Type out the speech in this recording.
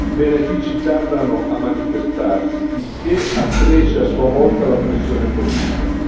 I benefici tardano a manifestarsi, il che accresce a sua volta la pressione politica.